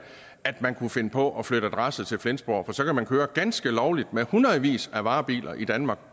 at man kunne finde på at flytte adresse til flensborg for så kan man køre ganske lovligt med hundredvis af varebiler i danmark